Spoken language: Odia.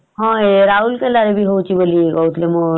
ହଁ ରାଉରକେଲା ରେ